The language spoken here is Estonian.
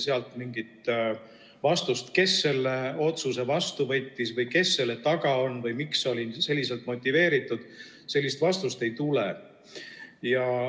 Sealt mingit vastust, kes selle otsuse vastu võttis või kes selle taga on või miks see oli selliselt motiveeritud, ei tule.